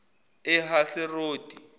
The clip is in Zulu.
ehaseroti